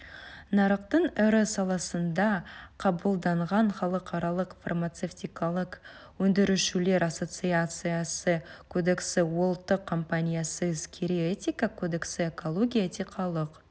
нарықтың ірі саласында қабылданған халықаралық фармацевтикалық өндірушілер ассоцициясы кодексі ұлттық компаниясы іскери этика кодексі экология этикалық